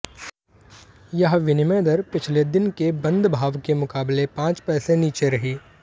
यह विनिमय दर पिछले दिन के बंद भाव के मुकाबले पांच पैसे नीचे रही